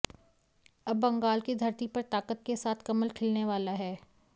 अब बंगाल की धरती पर ताकत के साथ कमल खिलने वाला है